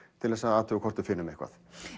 til þess að athuga hvort við finnum eitthvað